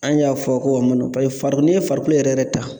An y'a fɔ ko mun no paseke fari n'i ye farikolo yɛrɛ yɛrɛ ta